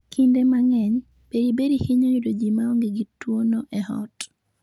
Kinde mang'eny, beriberi hinyo yudo ji ma onge gi tuwono e ot.